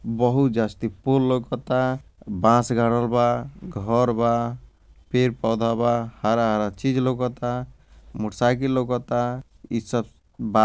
बहुत जास्ती फूल लउकता बास गाड़ल बा घर बा पेड़-पौधा बा हरा-हरा चीज़ लउकता मोटरसाइडिल लउकता इ सब बा।